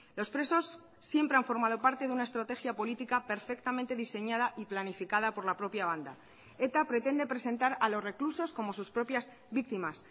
los presos siempre han formado parte de una estrategia política perfectamente diseñada y planificada por la propia banda eta pretende presentar a los reclusos como sus propias víctimas